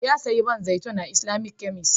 Ya sayo man zaitin a Islamic kemis